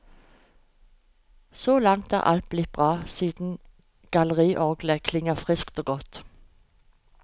Så langt er alt blitt bra siden galleriorglet klinger friskt og godt.